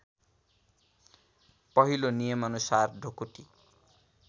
पहिलो नियमअनुसार ढुकुटी